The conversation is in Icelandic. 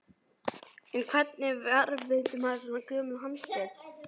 En hvernig varðveitir maður svo gömul handrit?